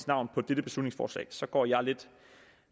navn på dette beslutningsforslag så går jeg lidt